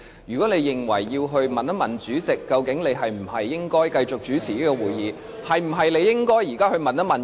如果你認為要向主席查詢應否由你繼續主持會議，那麼，你是否應該現在就去詢問呢？